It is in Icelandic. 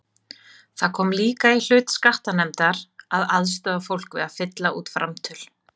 Það kom líka í hlut skattanefndar að aðstoða fólk við að fylla út framtöl.